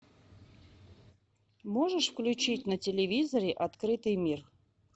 можешь включить на телевизоре открытый мир